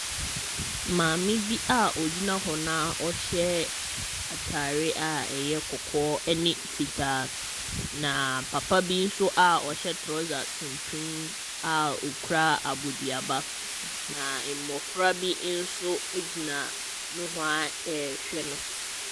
Maame bi a ɔgyina hɔ no a ɔhyɛ atare a ɛyɛ kɔkɔɔ ne fitaa, na papa bi nso a ɔhyɛ trɔsa tuntum a ɔkura aboduaba, na mmɔfra bi nso gyina nohoa rehwɛ no.